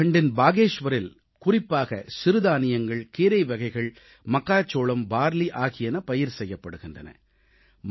உத்தராகண்ட்டின் பாகேஷ்வரில் குறிப்பாக சிறுதானியங்கள் கீரைவகைகள் மக்காச்சோளம் பார்லி ஆகியன பயிர் செய்யப்படுகின்றன